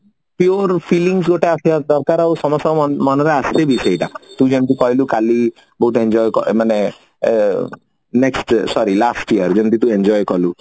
fillings ଗୋଟେ ଆସିବା ଦରକାର ଆଉ ସମସ୍ତଙ୍କ ମନରେ ଆସେବି ସେଇଟା ତୁ ଯେମିତେ କହିଲୁ କାଲି ବହୁତ enjoy ମାନେ ଅ next year sorry last year ଯେମିତି କି enjoy କଲୁ